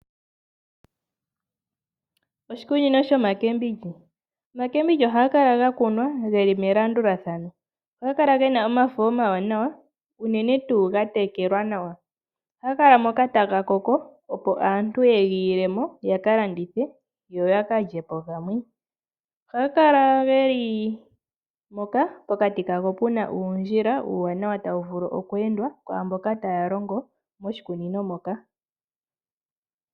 Oshikunino shomboga Omboga ohayi kala ya kunwa yi li melandulathano. Ohayi kala yi na omafo omawanawa unene tuu ga tekelwa nawa. Ohaga kala moka taga koko, opo aantu ye ga ile mo yaka landitha yo ya kalye po gamwe. Ohaga kala ge li moka pokati kago pu na uundjila uuwanawa tawu vulu oku endwa kwaa mboka taya ende moshikunino moka.